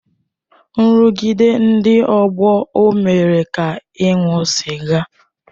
Nrụgide ndị ọgbọ ọ mere ka ị ṅụọ sịga?